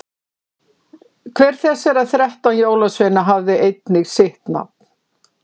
hver þessara þrettán jólasveina hafði einnig sitt nafn